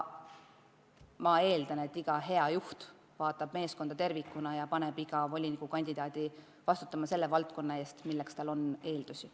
Ma eeldan, et iga hea juht vaatab meeskonda tervikuna ja paneb iga volinikukandidaadi vastutama selle valdkonna eest, mille juhtimiseks tal on eeldusi.